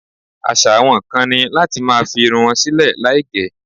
Àṣà àwọn kan ni láti máa fi irun wọn sílè láì gẹ̀.